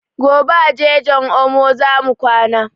Gobe a jejin omo zamu kwana